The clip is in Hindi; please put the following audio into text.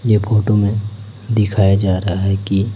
ये फोटो में दिखाया जा रहा है की--